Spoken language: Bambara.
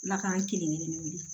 Ala k'an kelenkelennin wele